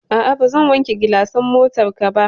A'a, bazan wanke gilasan motarka ba.